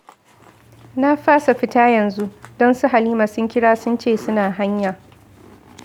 Na fasa fita yanzu, don su Halima sun kira sun ce suna hanya